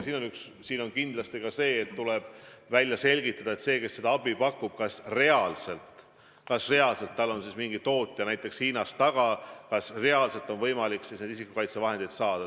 Probleem on kindlasti aga see, et tuleb välja selgitada, kas sellel, kes seda abi pakub, on reaalselt mingi näiteks Hiina tootja taga, kas reaalselt on võimalik need isikukaitsevahendid saada.